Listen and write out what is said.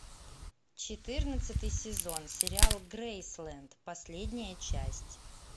четырнадцатый сезон сериал грейсленд последняя часть